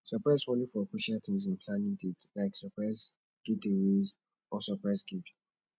surprise follow for crucial things in planning dates like surprise getaways or surprise gifts